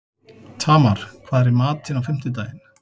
Tamar, hvað er í matinn á fimmtudaginn?